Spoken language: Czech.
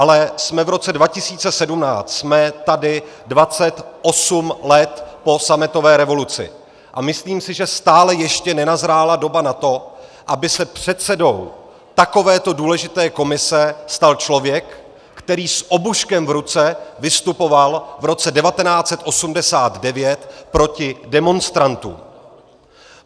Ale jsme v roce 2017, jsme tady 28 let po sametové revoluci a myslím si, že stále ještě nenazrála doba na to, aby se předsedou takovéto důležité komise stal člověk, který s obuškem v ruce vystupoval v roce 1989 proti demonstrantům.